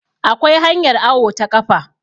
akwai hanyar awo ta kafa